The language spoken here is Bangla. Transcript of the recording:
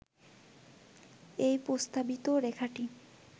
এই প্রস্তাবিত রেখাটি